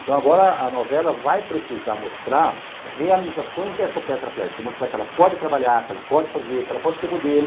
Então agora a novela vai precisar mostrar realizações dessa tetraplégica, mostrar que ela pode trabalhar, que ela pode fazer, que ela pode ser modelo,